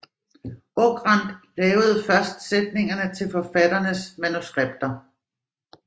Okrand lavede først sætningerne til forfatternes manuskripter